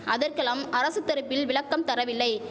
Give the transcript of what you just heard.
அதற்கெலாம் அரசு தரப்பில் விளக்கம் தரவில்லை